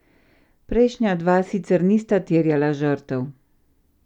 Prejšnja dva sicer nista terjala žrtev.